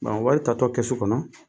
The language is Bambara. Bon o wari tatɔ kɛsu kɔnɔ